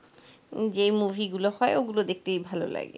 যে মুভিগুলো হয় ওগুলো দেখতে ভালো লাগে,